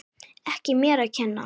Ekki mér að kenna!